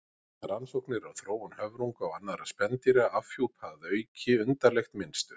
Rannsóknir á þróun höfrunga og annarra spendýra afhjúpa að auki undarlegt mynstur.